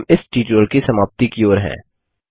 हम इस ट्यूटोरियल की समाप्ति की ओर हैं